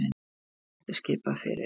Hæstarétti skipað fyrir